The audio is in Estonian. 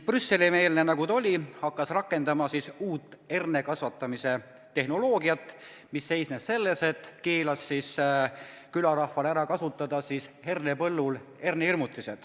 Brüsseli-meelne nagu ta oli, hakkas ta rakendama uut hernekasvatustehnoloogiat, mis seisnes selles, et keelas siis külarahval kasutada hernepõllul hernehirmutisi.